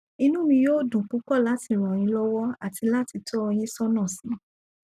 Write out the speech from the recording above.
inú mi yóò dùn púpọ láti ràn yín lọwọ àti láti tọ ọ yín sọnà si